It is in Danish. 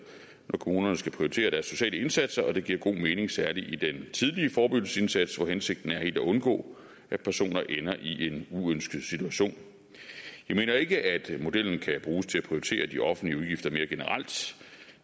når kommunerne skal prioritere deres sociale indsatser og det giver god mening særlig i den tidlige forebyggelsesindsats hvor hensigten er helt at undgå at personer ender i en uønsket situation jeg mener ikke at modellen kan bruges til at prioritere de offentlige udgifter mere generelt